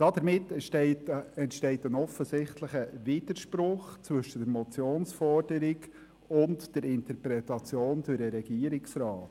Damit entsteht ein offensichtlicher Widerspruch zwischen der Motionsforderung und der Interpretation des Regierungsrats.